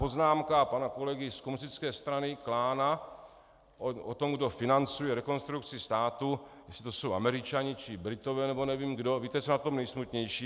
Poznámka pana kolegy z komunistické strany Klána o tom, kdo financuje Rekonstrukci státu, jestli to jsou Američané či Britové nebo nevím kdo - víte, co je na tom nejsmutnější?